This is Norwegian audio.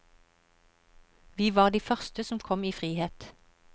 Vi var de første som kom i frihet.